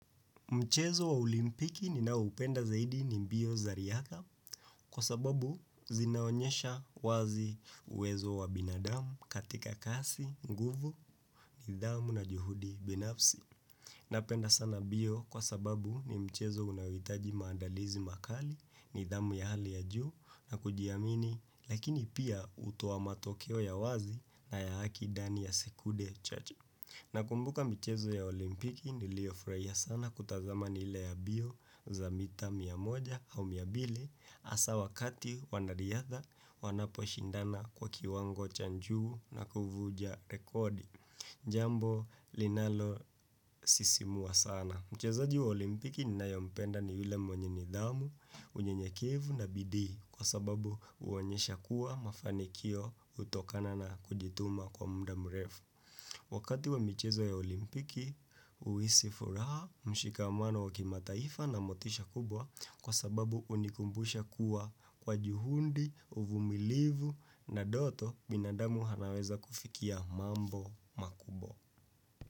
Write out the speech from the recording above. Mchezo wa olimpiki ninaoupenda zaidi ni mbio za riyadha kwa sababu zinaonyesha wazi uwezo wa binadamu katika kasi, nguvu, nidhamu na juhudi binafsi. Napenda sana mbio kwa sababu ni mchezo unaohitaji maandalizi makali, nidhamu ya hali ya juu na kujiamini lakini pia hutoa matokeo ya wazi na ya haki ndani ya sekunde chache. Na kumbuka michezo ya olimpiki niliyofurahia sana kutazama ni ile ya mbio za mita mia moja au mia mbili hasa wakati wanariyadha wanapo shindana kwa kiwango cha juu na kufunja rekodi jambo linalo sisimua sana. Mchezaji wa olimpiki ninayempenda ni yule mwenye nidhamu, unyenyekevu na bidii kwa sababu huonyesha kuwa mafanikio hutokana na kujituma kwa muda mrefu. Wakati wa michezo ya olimpiki, huisi furaha mshikamano wakimataifa na motisha kubwa kwa sababu hunikumbusha kuwa kwa juhudi, uvumilivu na ndoto binadamu anaweza kufikia mambo makubwa.